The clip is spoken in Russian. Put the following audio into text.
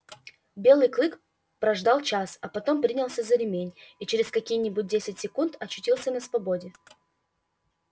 белый клык прождал час а потом принялся за ремень и через какие нибудь десять секунд очутился на свободе